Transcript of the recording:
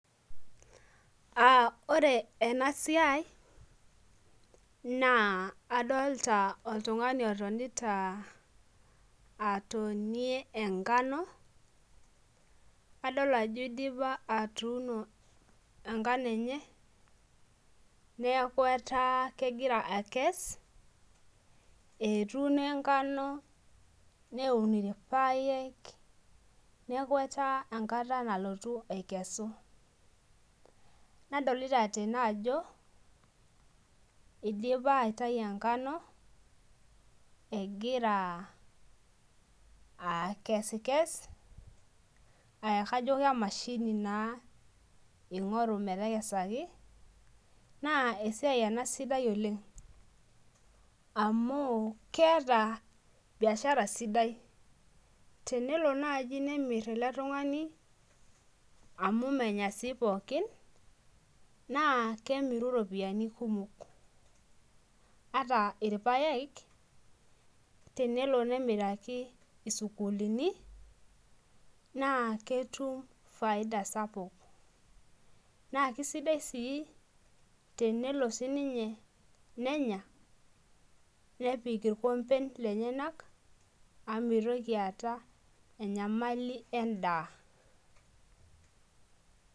Uh ore ena siai naa adolta oltung'ani otonita atonie enkano adol ajo idipa atuuno enkano enye neaku etaa kegira akes etuuno enkano neun irpayek niaku etaa enkata nalotu aikesu nadolita tene ajo idipa aitai enkano egira akesikes e kajo kemashini naa ing'oru metekesaki na esiai ena sidai oleng amu keeta biashara sidai tenelo naaji nemirr ele tung'ani amu menya sii pookin naa kemiru iropiyiani kumok ata irpayek tenelo nemiraki isukuulin naa ketum faida sapuk naa kisidai sii tenelo sininye nenya nepik irkomben lenyena amu mitoki aata enyamali endaa.